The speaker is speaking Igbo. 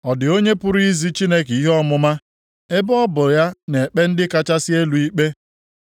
“Ọ dị onye pụrụ izi Chineke ihe ọmụma, ebe ọ bụ ya na-ekpe ndị kachasị elu ikpe?